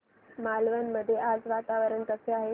मालवण मध्ये आज वातावरण कसे आहे